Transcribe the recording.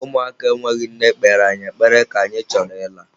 Ụmụaka enweghị nne kpere anyị ekpere ka anyị chọrọ ịla.